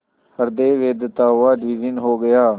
हृदय वेधता हुआ विलीन हो गया